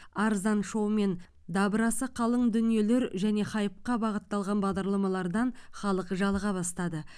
арзан шоу мен дабырасы қалың дүниелер және хайпқа бағытталған бағдарламалардан халық жалыға бастады